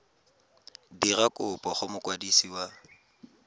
dira kopo go mokwadisi wa